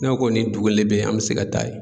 N'a kɔni dugu le bɛ yen an bɛ se ka taa yen.